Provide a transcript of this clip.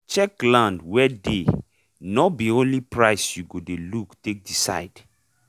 check land wey dey nor be only price you go look take decide